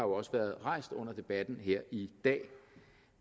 også været rejst under debatten her i dag